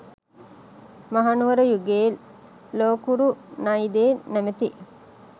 මහනුවර යුගයේ ලෝකුරු නයිදේ නමැති